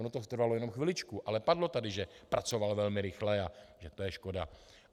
Ono to trvalo jenom chviličku, ale padlo tady, že pracoval velmi rychle a že to je škoda.